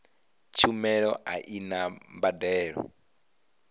tshumelo a i na mbadelo